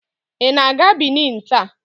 Ị na-aga Benin taa?